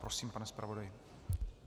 Prosím, pane zpravodaji.